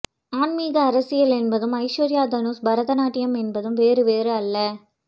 ஆன்மீக அரசியல் என்பதும் ஐஸ்வர்யா தனுஷ் பரதநாட்டியம் என்பதும் வேறு வேறு அல்ல